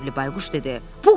Qəzəbli Bayquş dedi.